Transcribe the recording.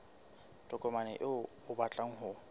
tokomane eo o batlang ho